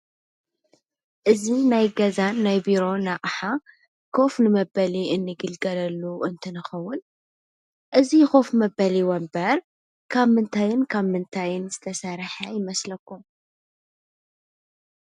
እዚ ናይ ገዛን ናይ ቢሮን ኣቕሓ ኮፍ ንመበሊ እንግልገለሉ እንትንኸዉን እዚ ኮፍ መበሊ ወንበር ካብ ምንታይን ካብ ምንታይን ዝተሰርሐ ይመስለኩም?